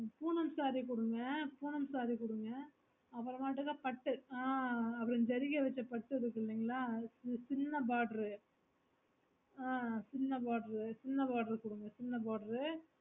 punam saree குடுங்க punam saree குடுங்க அபிராம பட்டு ஆஹ் ஜெரிகா வெச்ச பட்டு இருக்குதுங்கிளையா சின்ன border ஆஹ் சின்ன border சின்ன border குடுங்க சின்ன border